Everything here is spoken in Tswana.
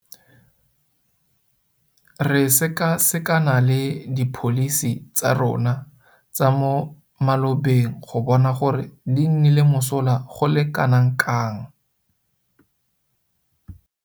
Re sekasekana le dipholisi tsa rona tsa mo malobeng go bona gore di nnile mosola go le kanakang.